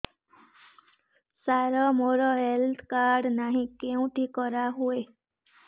ସାର ମୋର health card ନାହିଁ କେଉଁଠି କରା ହୁଏ